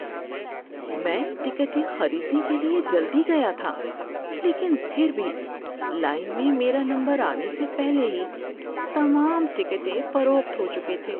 میں ٹکٹیں خریدنے کے لیے جلدی گیا تھا لیکن پھر بھی لائن میں میرا نمبر آنے سے پہلے ہی تمام ٹکٹیں فروخت ہو چکے تھے۔